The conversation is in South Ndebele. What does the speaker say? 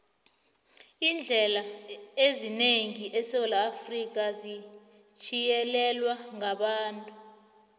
iindlela eziningi esewula afrika zithiyelelwe ngabantu